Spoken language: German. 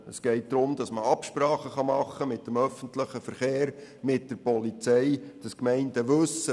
Es geht darum, dass man Absprachen mit dem öffentlichen Verkehr und der Polizei treffen kann.